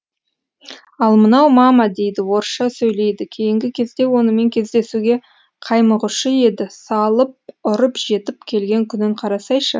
ал мынау мама дейді орысша сөйлейді кейінгі кезде онымен кездесуге қаймығушы еді салып ұрып жетіп келген күнін қарасайшы